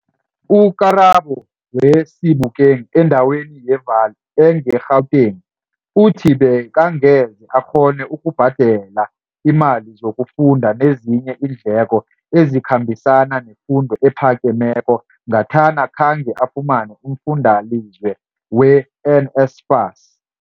U-Karabo we-Sebokeng endaweni ye-Vaal engeGauteng uthi bekangeze akghone ukubhadela iimali zokufunda nezinye iindleko ezikhambisana nefundo ephakemeko ngathana khange afumane umfundalize we-NSFAS.